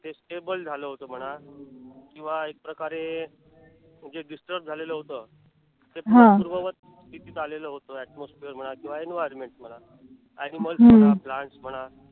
ते stable झालं होत म्हणा किंवा एकप्रकारे जे disturb झालेलं होत. ते पुन्हा पूर्ववत स्थितीत आलेल होत. atmosphere म्हणा किंवा environment म्हणा animals म्हणा plants म्हणा